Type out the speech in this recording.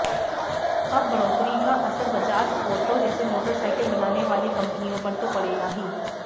अब बढ़ोतरी का असर बजाज ऑटो जैसी मोटरसाइकिल बनाने वाली कंपनियों पर तो पड़ेगा ही